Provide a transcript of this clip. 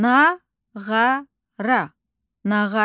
Nağara, nağara.